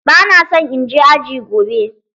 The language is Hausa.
Ba na so in je aji gobe.